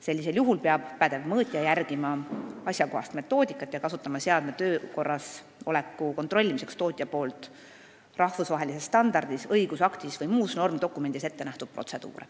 Sellisel juhul peab pädev mõõtja kasutama asjakohast metoodikat ja kasutama seadme töökorras oleku kontrollimiseks protseduure, mis tootja on rahvusvahelises standardis, õigusaktis või muus normdokumendis ette näinud.